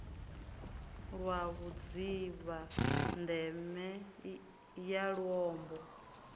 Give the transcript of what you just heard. lwa vhudzivha ndeme ya luambo